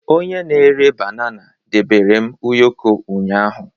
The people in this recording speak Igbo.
Onye na-ere banana debere m ụyọkọ ụnyahụ